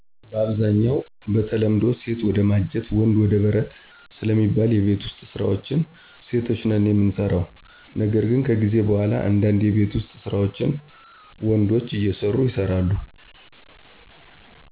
በአብዛኛው በተለምዶ ሴት ወደ ማጀት ወንድ ወደ በረት ስለሚባል የቤት ውስጥ ስራዎችን ሴቶች ነን የምንሰራው ነገር ግን ከጊዜ በኋላ እንዳንድ የቤት ውስጥ ስራዎችን ወንዶችም አየሰሩ ይሰራሉ።